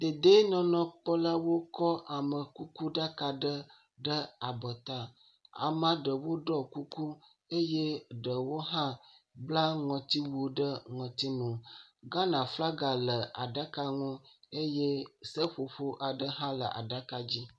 Dedienɔnɔkpɔlawo kɔ amekukuɖaka ɖe ɖe abɔta. Amea ɖewo ɖɔ kuku eye ɖewo bla ŋɔtiwu ɖe ŋɔtinu. Ghana flaga le aɖaka ŋu eye seƒoƒo aɖe hã le aɖaka dzi.